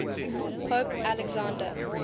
pope alexander